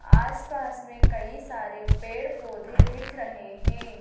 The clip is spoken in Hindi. आसपास में कई सारे पेड़ पौधे दिख रहे हैं।